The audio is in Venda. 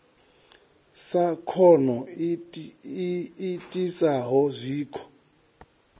sa khono i itisaho zwikho